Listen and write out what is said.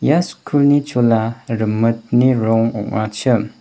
ia skulni chola rimitni rong ong·achim.